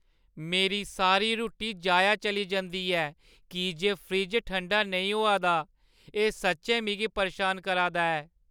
मेरी सारी रुट्टी जाया चली जंदी ऐ की जे फ्रिज ठंडा नेईं होआ दा, एह् सच्चैं मिगी परेशान करा दा ऐ।